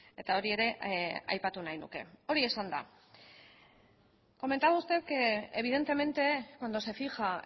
eta hori ere aipatu nahi nuke hori esanda comentaba usted que evidentemente cuando se fija